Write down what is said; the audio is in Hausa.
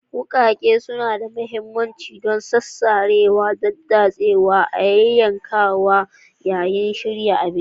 Wuƙaƙe suna da mahimmanci don sarewa, daddatsawa, da yankawa sinadaran yayin shirya abinci.